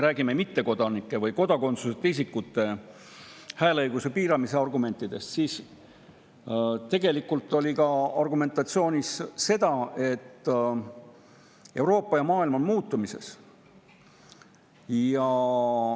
Rääkides mittekodanike või kodakondsuseta isikute hääleõiguse piiramisest, siis argumentide seas oli ka see, et Euroopa ja maailm on muutumises.